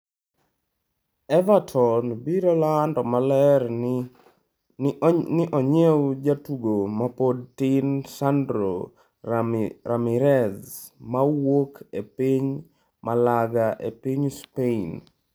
Everton biro lando maler ni onyiew jatugo mapod tin Sandro Ramirez mawuok e piny Malaga e piny Spain.